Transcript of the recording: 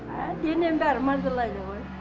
әә денем бәрі мазалайды ғой